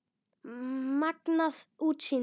Magnað útsýni!